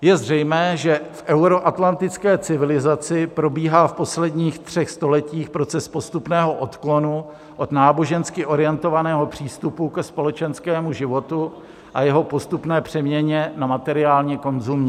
Je zřejmé, že v euroatlantické civilizaci probíhá v posledních třech stoletích proces postupného odklonu od nábožensky orientovaného přístupu ke společenskému životu a jeho postupné přeměně na materiálně konzumní.